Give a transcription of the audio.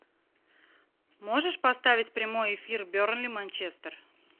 можешь поставить прямой эфир бернли манчестер